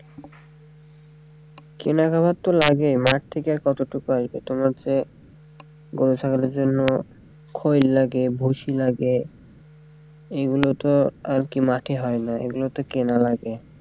কেনা খাওয়ার তো লাগে মাঠ থেকে আর এতোটুকু আসবে তোমার যে গরু ছাগলের জন্য লাগে ভুসি লাগে এইগুলো তো আরকি মাঠে হয়না এইগুলো তো কেনা লাগে।